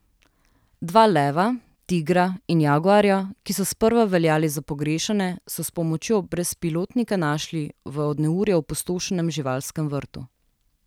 Dva leva, tigra in jaguarja, ki so sprva veljali za pogrešane, so s pomočjo brezpilotnika našli v od neurja opustošenem živalskem vrtu.